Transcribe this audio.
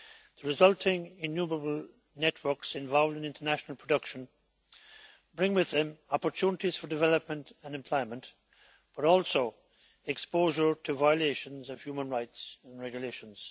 The resulting innumerable networks involved in international production bring with them opportunities for development and employment, but also exposure to violations of human rights and regulations.